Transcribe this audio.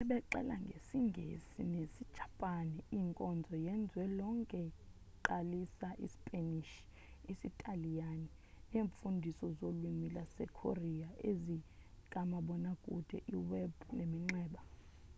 sebexela ngesi-ngesi nesi-japan inkonzo yezwe lonke iqalisa i-sipanish isitaliyani neemfundiso zolwimi lama-korea ezikamabona kude i-web neminxeba